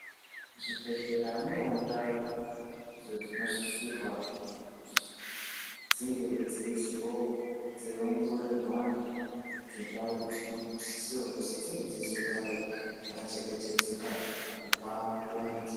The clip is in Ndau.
Zvibhedhlera munewo ndau idzo dzinosisirwa kuzi dzingewo dzeiongorerwa antu idzo ndau dzinosiswa kuzi dzinge dzeizogarewo dzakachengetedzeka kubva kuantu.